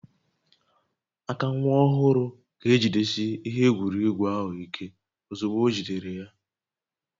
Aka nwa ọhụrụ ga-ejidesi ihe egwuregwu ahụ ike ozugbo ojidere ya